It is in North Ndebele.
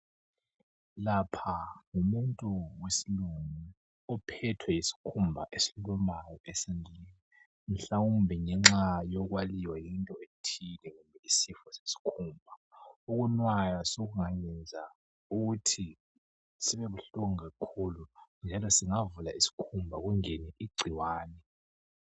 Lapha ngumuntu wesilungu ophethwe yisikhumba esilumayo esandleni mhlawumbe ngenxa yokwaliwa yinto ethile yisifo sesikhumba ukunwaya sekungayenza ukuthi sibe buhlungu kakhulu njalo singavula isikhumba kungene igcikwane.